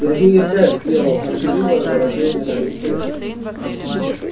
сергей опять сделал горделивое выражение на лице